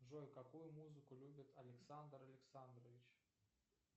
джой какую музыку любит александр александрович